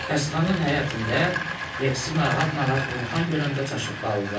Xəstəxananın həyətində Reksi narahat-narahat vurnuxan görəndə çaşıb qaldılar.